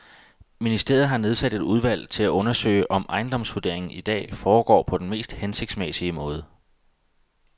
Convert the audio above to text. Ministeriet har nedsat et udvalg til at undersøge, om ejendomsvurderingen i dag foregår på den mest hensigtsmæssige måde.